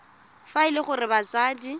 fa e le gore batsadi